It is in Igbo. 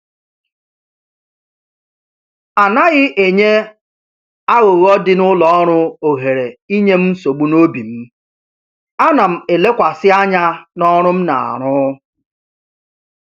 Anaghị enye aghụghọ dị n'ụlọ ọrụ ohere inye m nsogbu n'obi m, ana m elekwasị anya n'ọrụ m na-arụ